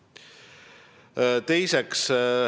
See on punkt üks.